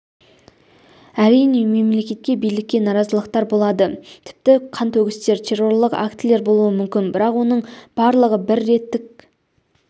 әрине мемлекетке билікке наразылықтар болады тіпті қантөгістер террорлық актілер болуы мүмкін бірақ оның барлығы бір реттік